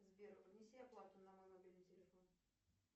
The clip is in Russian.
сбер внеси оплату на мой мобильный телефон